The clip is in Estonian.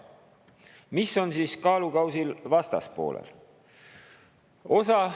Mis on kaalukausil vastaspoolel?